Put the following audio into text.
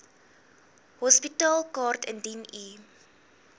hospitaalkaart indien u